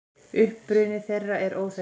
Uppruni þeirra er óþekktur.